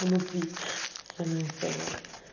внутри с самим собой